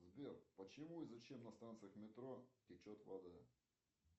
сбер почему и зачем на станциях метро течет вода